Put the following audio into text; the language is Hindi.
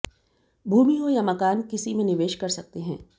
भूमि हो या मकान किसी में निवेश कर सकते हैं